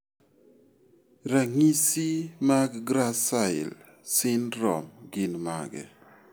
Ranyi mag GRACILE syndrome gin mage?